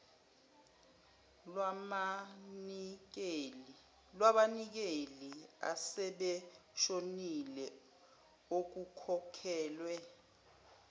labanikeli asebeshonile okukhokhelwe